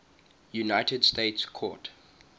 united states court